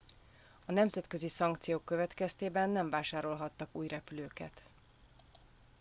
a nemzetközi szankciók következtében nem vásárolhattak új repülőket